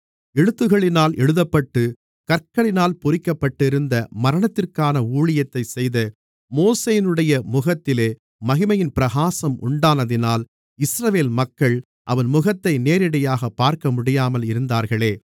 எழுத்துக்களினால் எழுதப்பட்டுக் கற்களில் பொறிக்கப்பட்டிருந்த மரணத்திற்கான ஊழியத்தைச் செய்த மோசேயினுடைய முகத்திலே மகிமையின் பிரகாசம் உண்டானதினால் இஸ்ரவேல் மக்கள் அவன் முகத்தை நேரடியாகப் பார்க்கமுடியாமல் இருந்தார்களே